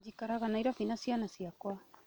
Njikaraga Nyairobi na ciana ciakwa